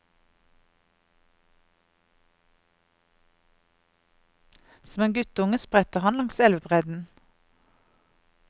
Som en guttunge spretter han langs elvebredden.